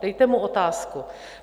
Dejte mu otázku.